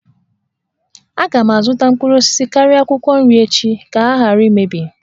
Aga m azụta mkpụrụ osisi karịa akwụkwọ nri echi ka ha ghara imebi